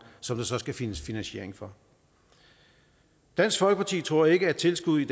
som der så skal findes finansiering for dansk folkeparti tror ikke at tilskud i